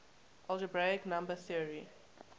algebraic number theory